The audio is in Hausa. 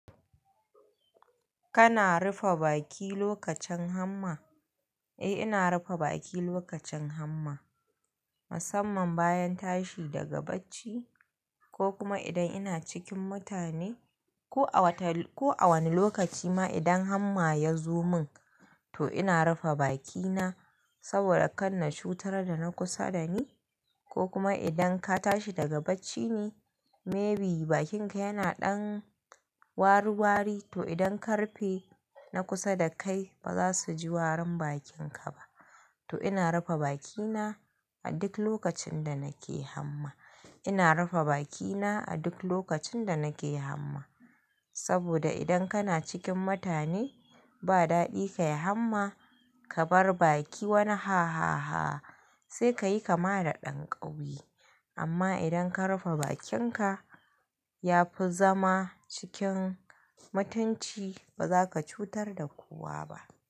Kana rufe baki lokacin hamma? Eh, ina rufe baki lokacin hamma. Musamman bayan tashi daga bacci ko kuma idan ina cikin mutane ko a wani lokaci ma idan hamma ya zo min to ina rufe bakina saboda kan na cutar da na kusa da ni ko kuma idan ka tashi daga bacci ne maybe bakinka yana ɗan waruwari to idan ka rufe na kusa da kai ba za su ji warin bakinka ba. To ina rufe bakina a duk lokacin da nake hamma. Ina rufe bakina a duk lokacin da nake hamma. Saboda idan kana cikin mutane ba daɗi ka yi hamma, ka bar baki wani ha ha ha sai ka yi kama da ɗan ƙauye. Amma idan ka rufe bakinka ya fi zama cikin mutunci ba za ka cutar da kowa ba.